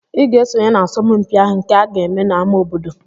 Ị ga-esonye n'asọmpi ahụ nke aga-eme n'ámá obodo!